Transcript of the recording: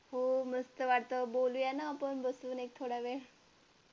हो मस्त वाटत बोलूया ना आपण बसून एक थोडा वेळ